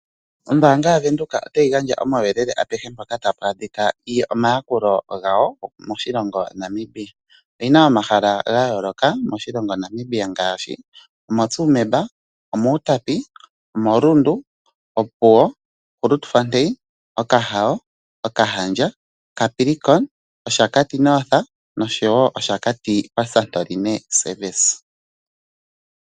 Ombaanga yaVenduka otayi gandja omauyelele apehe mpoka tapu adhika omayakulo gawo moshilongo Namibia. Oyina omahala gayooloka moshilongo Namibia ngaashi omoTsumeb, omOutapi, omoRundu, Opuwo, Grootfontein , Okahao, okahandja Capricorn, Oshakati North nOshakati Santorini service.